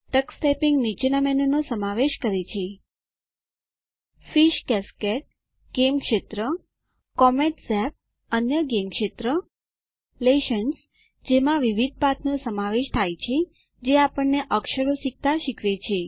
Tux typing નીચેના મેનુનો સમાવેશ કરે છે ફિશ કાસ્કેડ - ગેમ ક્ષેત્ર કોમેટ ઝાપ - અન્ય ગેમ ક્ષેત્ર લેસન્સ જેમાં વિવિધ પાઠનો સમાવેશ થાય છે જે આપણને અક્ષરો શીખતા શીખવે છે